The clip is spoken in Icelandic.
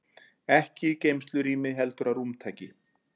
Ekki í geymslurými heldur að rúmtaki.